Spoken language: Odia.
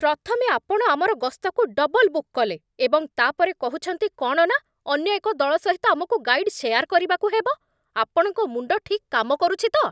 ପ୍ରଥମେ, ଆପଣ ଆମର ଗସ୍ତକୁ ଡବଲ୍ ବୁକ୍ କଲେ ଏବଂ, ତା' ପରେ କହୁଛନ୍ତି କ'ଣ ନା ଅନ୍ୟ ଏକ ଦଳ ସହିତ ଆମକୁ ଗାଇଡ୍ ସେୟାର୍ କରିବାକୁ ହେବ। ଆପଣଙ୍କ ମୁଣ୍ଡ ଠିକ୍ କାମ କରୁଛି ତ?